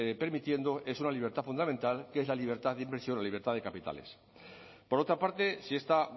permitiendo es una libertad fundamental que es la libertad de inversión la libertad de capitales por otra parte si esta